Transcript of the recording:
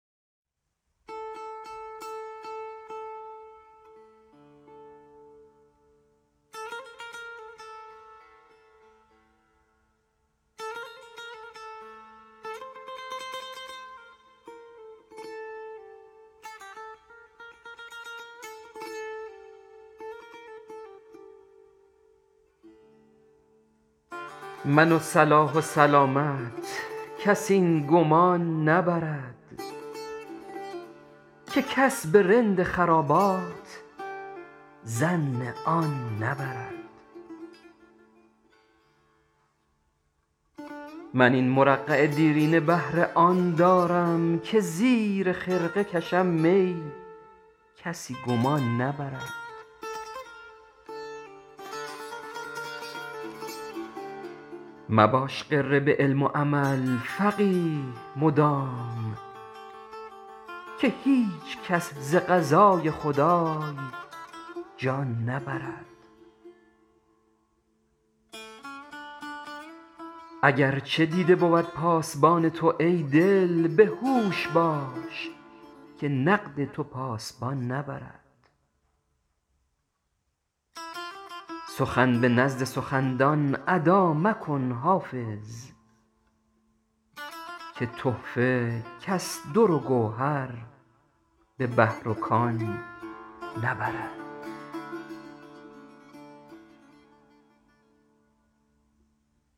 من و صلاح و سلامت کس این گمان نبرد که کس به رند خرابات ظن آن نبرد من این مرقع دیرینه بهر آن دارم که زیر خرقه کشم می کسی گمان نبرد مباش غره به علم و عمل فقیه مدام که هیچ کس ز قضای خدای جان نبرد اگرچه دیده بود پاس بان تو ای دل به هوش باش که نقد تو پاس بان نبرد سخن به نزد سخن دان ادا مکن حافظ که تحفه کس دروگوهر به بحر و کان نبرد